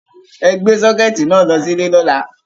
Ẹ gbé sọ́kẹ̀ẹ̀tì náà lọ sí ilé lọ́la!